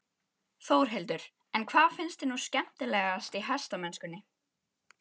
Þórhildur: En hvað finnst þér nú skemmtilegast í hestamennskunni?